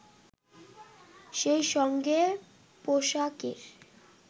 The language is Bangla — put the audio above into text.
সেই সঙ্গে পোশাকের